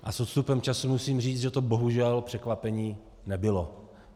A s odstupem času musím říct, že to bohužel překvapení nebylo.